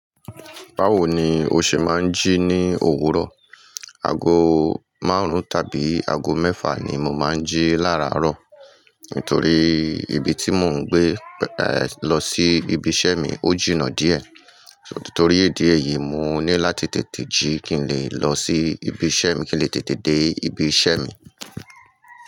Bawo ni o ṣe máa ń jí ní òwúrọ̀? Ago márùn tàbí ago mẹ́fà ni mo máa ń jí láràáro. Nítorí ibi tí mò ń gbé lọ sí ibi iṣẹ́ mi ó jìnnà díẹ̀. Nítorí èdè yìí, mo ní láti tètè jí kí n lè lọ sí ibi iṣẹ́ mi, kí n lè tètè dé ibi iṣẹ́ mi.